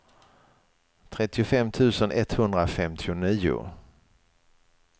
trettiofem tusen etthundrafemtionio